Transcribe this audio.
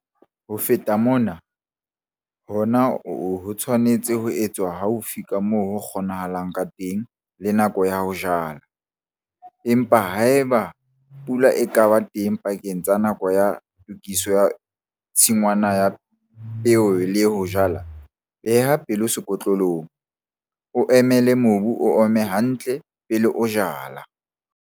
Ho feta mona, hona ho tshwanetse ho etswa haufi ka moo ho kgonahalang ka teng le nako ya ho jala, empa haeba pula e ka ba teng pakeng tsa nako ya tokiso ya tshingwana ya peo le ya ho jala, beha pelo sekotlolong, o emele mobu ho oma hantle pele o jala.